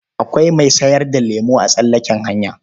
Akwai mai sayar da lemo a tsallaken hanya.